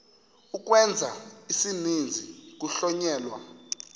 ukwenza isininzi kuhlonyelwa